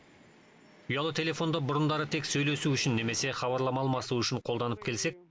ұялы телефонды бұрындары тек сөйлесу үшін немесе хабарлама алмасу үшін қолданып келсек